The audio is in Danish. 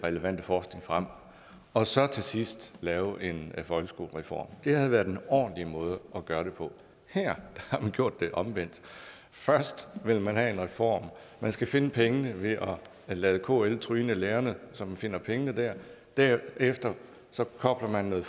relevante forskning frem og så til sidst lavet en folkeskolereform det havde været en ordentlig måde at gøre det på her har man gjort det omvendt først vil man have en reform man skal finde pengene ved at lade kl tryne lærerne så man finder pengene der derefter kobler man noget